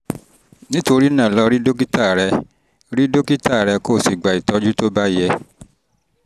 nítorí náà lọ rí dókítà rẹ rí dókítà rẹ kó o sì gba ìtọ́jú tó bá yẹ